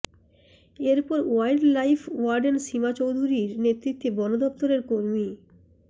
এরপর wildlife warden Seema চৌধুরীর নেতৃত্বে বনদফতরের কর্মী